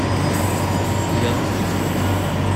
в яндексе